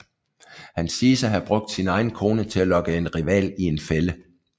Han siges at have brugt sin egen kone til at lokke en rival i en fælde